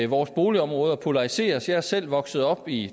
vores boligområder polariseres jeg er selv vokset op i